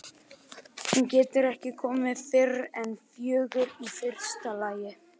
Hún getur ekki komið fyrr en fjögur í fyrsta lagi.